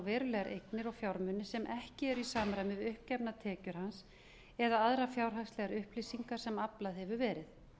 verulegar eignir og fjármuni sem ekki eru í samræmi við uppgefnar tekjur hans eða aðrar fjárhagslegar upplýsingar sem aflað hefur verið